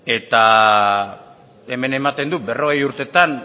hemen ematen du berrogei urtetan